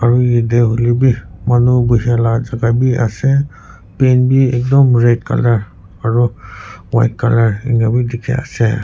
aro yedeh huilehbi manu gushia la jaga bi asey paint bi ekdum red colour aro white colour enia wi dikhi asey.